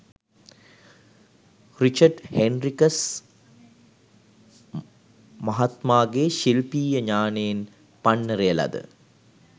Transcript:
Richard Henricus මහත්මාගේ ශිල්පීය ඤාණයෙන් පන්නරය ලද